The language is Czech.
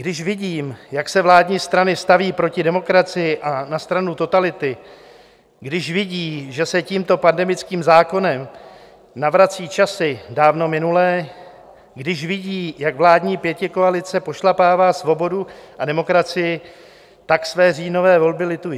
Když vidí, jak se vládní strany staví proti demokracii a na stranu totality, když vidí, že se tímto pandemickým zákonem navracejí časy dávno minulé, když vidí, jak vládní pětikoalice pošlapává svobodu a demokracii, tak své říjnové volby litují.